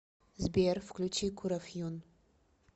сбер включи курофьюн